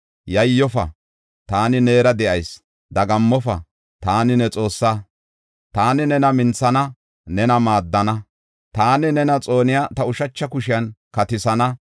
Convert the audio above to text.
Yayyofa, taani neera de7ayis; dagammofa, taani ne Xoossaa. Taani nena minthana; nena maaddana; taani nena xooniya ta ushacha kushiyan katisana.